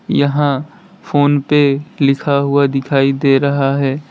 यहां फोनपे लिखा हुआ दिखाई दे रहा है।